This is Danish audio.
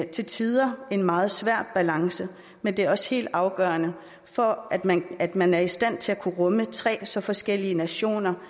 til tider en meget svær balance men det er også helt afgørende for at man at man er i stand til at kunne rumme tre så forskellige nationer